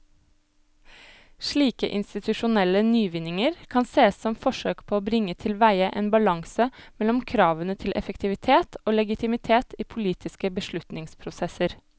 Slike institusjonelle nyvinninger kan sees som forsøk på å bringe tilveie en balanse mellom kravene til effektivitet og legitimitet i politiske beslutningsprosesser.